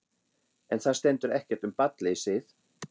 En þar stendur ekkert um barnleysið.